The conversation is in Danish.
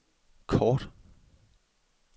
kort